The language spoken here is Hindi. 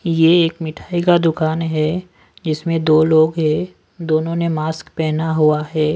ये एक मिठाई का दुकान है जिसमें दो लोग हैं दोनों ने मास्क पहना हुआ है।